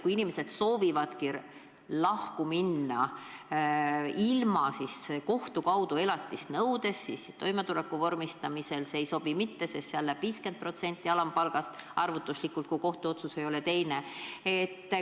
Kui inimesed soovivad lahku minna ilma kohtu kaudu elatist nõudmata, siis toimetuleku vormistamisel see ei sobi mitte, sest seal läheb 50% alampalgast arvutuslikult maha, kui kohtuotsus ei ole teistsugune.